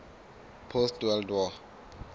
post world war